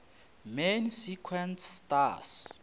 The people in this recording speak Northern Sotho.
main sequence stars